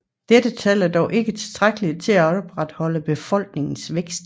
Dette tal er dog ikke tilstrækkelig til at opretholde befolkningens vækst